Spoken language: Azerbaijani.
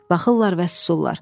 Baxırlar və susurlar.